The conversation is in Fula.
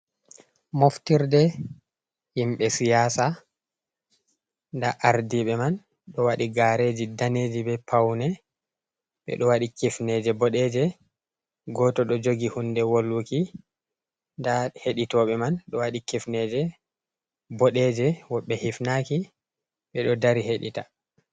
Mofftirde himɓe siyasa, nɗa ardiɓe man ɗo waɗi gareji daneji, ɓe paune, ɓeɗo waɗi, kifneje boɗeje, goto do jogi hunde wolwuki nɗa hedi toɓe man ɗo waɗi kifneje bodeje, wodbe hifnaki ɓeɗo dari heɗita.